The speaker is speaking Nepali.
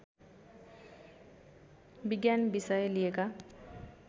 विज्ञान विषय लिएका